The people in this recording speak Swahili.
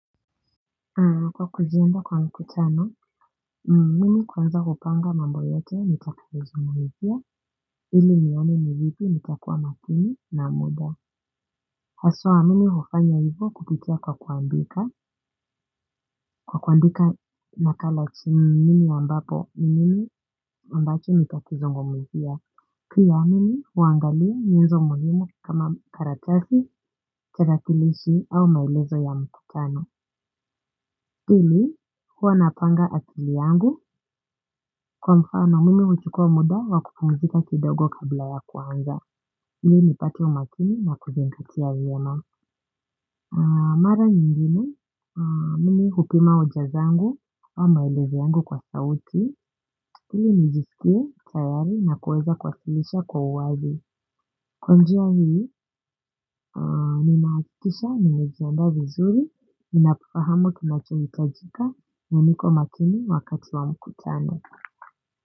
Kwa kujiandaa kwa mkutano, mimi kwanza hupanga mambo yote nitakayozungumzia ili nione ni vipi nitakua makini na muda. Haswa mimi hufanya hivyo kupitia kwa kuandika nakala chini mimi ambapo ni nini ambacho nitakizungumzia pia mimi huangalia nyenzo muhimu kama karatasi, tarakilishi au maelezo ya mkutano. Pili huwa napanga akili yangu kwa mfano mimi huchukua muda wa kuoumzika kidogo kabla ya kuanza. Ili nipate umakini na kuzingatia vyema, mara nyingine mimi hupima hoja zangu au maelezo yangu kwa sauti ili nijisikie tayari na kuweza kuwasilisha kwa uwazi. Kwa njia ninahakikisha nimejiandaa vizuri, ninafahamu kinachohitajika na niko makini wakati wa mkutano.